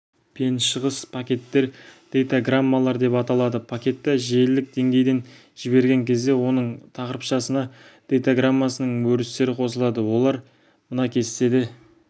пен шығыс пакеттер дейтаграммалар деп аталады пакетті желілік деңгейден жіберген кезде оның тақырыпшасына дейтаграммасының өрістері қосылады олар мына кестеде